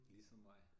Ligesom mig